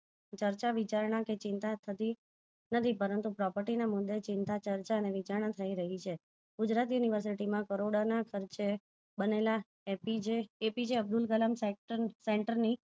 ચર્ચા -વિચારણા કે ચિંતા થતી નથી પરંતુ property માં મુદે ચિંતા, ચર્ચા અને વિચારણા થઇ રહી છે ગુજરાત university માં કરોડો ના ખર્ચે બનેલા APJ. Abdul Kalam sect center